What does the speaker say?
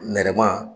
Nɛrɛma